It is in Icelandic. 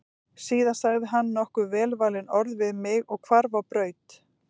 Síðan sagði hann nokkur velvalin orð við mig og hvarf á braut.